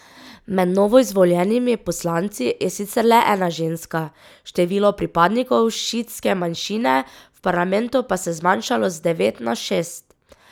Med novoizvoljenimi poslanci je sicer le ena ženska, število pripadnikov šiitske manjšine v parlamentu pa se je zmanjšalo z devet na šest.